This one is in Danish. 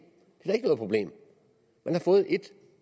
det er da ikke noget problem man har fået ét